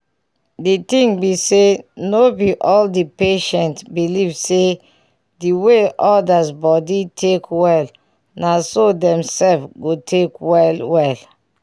di ting be say no be all the patients believe say the way others body take well naso dem sef go take well well